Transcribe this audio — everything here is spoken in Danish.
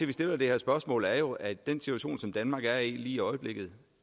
vi stiller det her spørgsmål er jo at den situation som danmark er i lige i øjeblikket